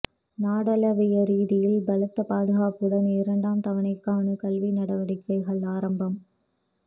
நாடளாவிய ரீதியில் பலத்த பாதுகாப்புடன் இரண்டாம் தவணைக்கான கல்வி நடவடிக்கைகள் ஆரம்பம்